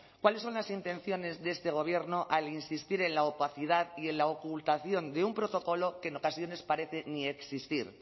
cuáles son las intenciones de este gobierno al insistir en la opacidad y en la ocultación de un protocolo que en ocasiones parece ni existir